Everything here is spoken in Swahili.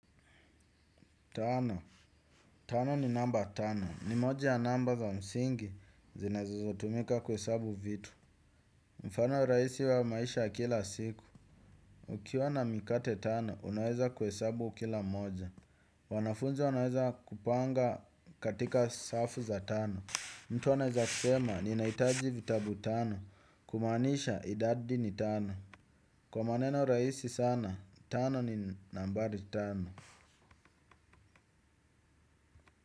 Tano, tano ni namba tano, ni moja ya namba za msingi, zinazo tumika kuhesabu vitu. Mfano rahisi wa maisha ya kila siku. Ukiwa na mikate tano, unaweza kuhesabu kila moja. Wanafunzi wanaweza kupanga katika safu za tano. Mtu anaweza kusema, nina hitaji vitabu tano, kumaanisha idadi ni tano. Kwa maneno raisi sana, tano ni nambari tano.